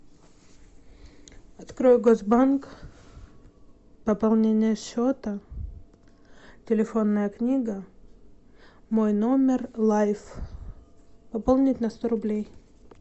открой госбанк пополнение счета телефонная книга мой номер лайф пополнить на сто рублей